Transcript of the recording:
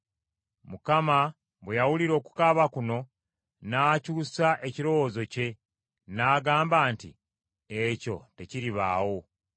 Mukama bwe yawulira okukaaba kuno n’akyusa ekirowoozo kye. N’agamba nti, “Ekyo tekiribaawo.”